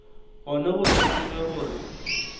gona go se tsebe gore